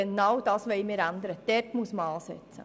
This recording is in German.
Genau das wollen wir ändern, hier muss man ansetzen.